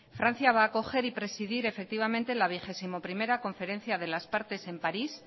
francia va acoger y presidir efectivamente la vigésimo primera conferencia de las partes en parís